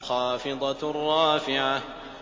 خَافِضَةٌ رَّافِعَةٌ